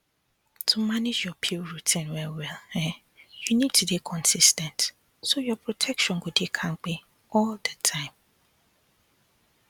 to manage your pill routine wellwell um you need to dey consis ten t so your protection go dey kampe all the time